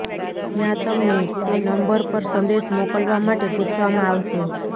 જ્યાં તમને તે નંબર પર સંદેશ મોકલવા માટે પૂછવામાં આવશે